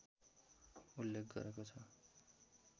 उल्लेख गरेको छ